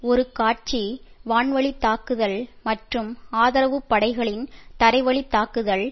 ஒரு காட்சி வான் வழி தாக்குதல் மற்றும் ஆதரவு படைகளின் தரைவழி தாக்குதல்